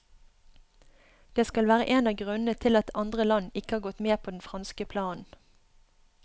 Det skal være en av grunnene til at andre land ikke har gått med på den franske planen.